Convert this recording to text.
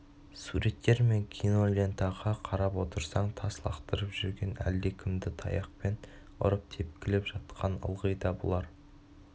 суреттер мен кинолентаға қарап отырсаң тас лақтырып жүрген әлдекімді таяқпен ұрып тепкілеп жатқан ылғи да бұлар